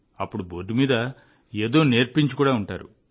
అప్పుడు బోర్డు మీద ఏదో నేర్పించి ఉంటారు